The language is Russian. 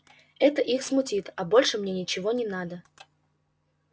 это их смутит а больше мне ничего не надо